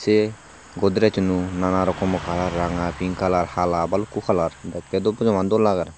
eh godrejuno na na rokomo color ranga pink color hala baluko color dekke bojaman dol lager.